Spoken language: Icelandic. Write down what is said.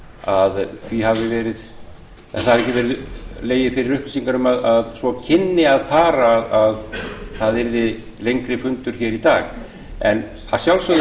að það hafi ekki legið fyrir upplýsingar að svo kynni að fara að það yrði lengri fundur í dag en að sjálfsögðu